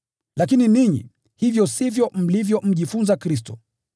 Lakini ninyi, hivyo sivyo mlivyojifunza Kristo.